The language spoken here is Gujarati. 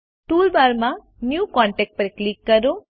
ટૂલબાર માં ન્યૂ કોન્ટેક્ટ પર ક્લિક કરો